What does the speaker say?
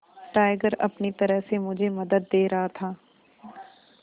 tiger अपनी तरह से मुझे मदद दे रहा था